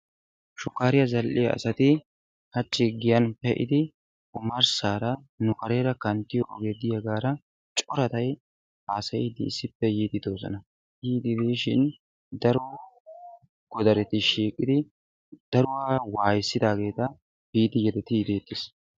shukkaariya zadhdhiyaa asati hachchi giyan pee'idi omarssaara nu kareera kanttiyoo ogee diyaagaara coradayi haasayiiddi issippe yiiddi de'oosona. yiiddi diishin daro godareti shiiqidi daruwaa waayissidaageeta biidi yedettiiddi deettees.